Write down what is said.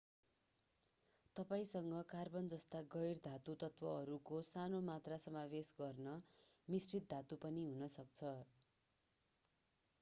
तपाईंसँग carbon जस्ता गैर धातु तत्त्वहरूको सानो मात्रा समावेश गर्ने मिश्रित धातु पनि हुन सक्छ